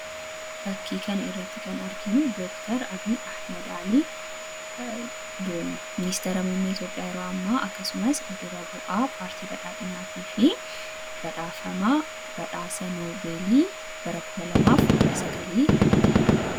Fakkii kanarratti kan arginu Dr Abiy Ahmad Alii ,ministeera muummee Itiyoophiyaa yeroo amma akkasumas dura bu'a paartii badhaadhinaatii fi badhaafamaa badhaasa noobelii Bara 2019, ti.